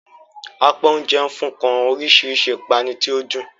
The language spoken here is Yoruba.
Apá oúnjẹ nfun kan orísirísi ipanu tí o dun.